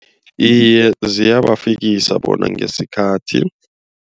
Iye ziyabafikisa bona ngesikhathi.